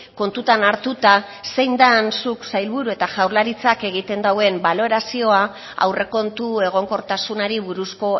kontutan hartuta zein den zuk sailburu eta jaurlaritzak egiten duen balorazioa aurrekontu egonkortasunari buruzko